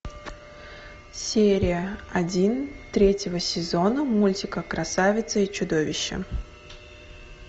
серия один третьего сезона мультика красавица и чудовище